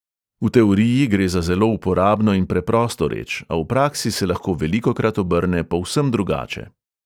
V teoriji gre za zelo uporabno in preprosto reč, a v praksi se lahko velikokrat obrne povsem drugače.